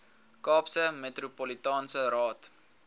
kaapse metropolitaanse raad